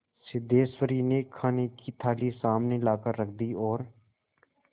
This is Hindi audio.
सिद्धेश्वरी ने खाने की थाली सामने लाकर रख दी और